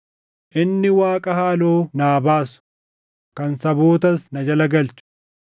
Inni Waaqa haaloo naa baasu, kan sabootas na jala galchu,